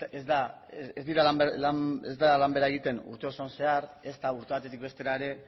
ez da lan bera egiten urte osoan zehar ezta urte batetik bestera ere